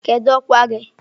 Kedu ọkwa gị?